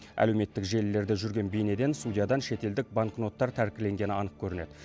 әлеуметтік желілерде жүрген бейнеден судьядан шетелдік банкноттар тәркіленгені анық көрінеді